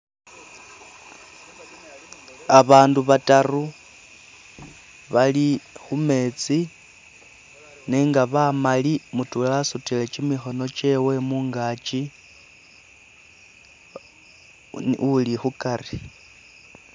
Abandu bataru bali kumeetsi nenga bamali mutwela asutile kyimikhono kyewe mungakyi uli khukari.